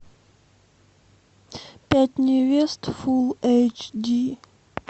пять невест фулл эйч ди